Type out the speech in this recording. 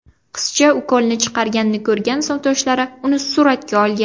Qizcha ukolni chiqarganini ko‘rgan sinfdoshlari uni suratga olgan.